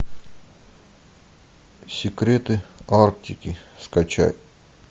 секреты арктики скачать